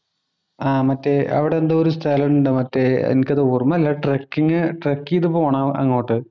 ആഹ് മറ്റേ അവിടെ എന്തോ ഒരു സ്ഥലമുണ്ട്. മറ്റേ എനിക്കത് ഓർമ്മയില്ല ട്രക്കിംഗ് ട്രെക്ക്യ്തു പോണം അങ്ങോട്ട്‌.